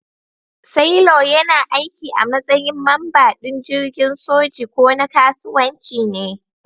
Sailor yana aiki a matsayin mamba din jirgin soji ko na kasuwanci ne.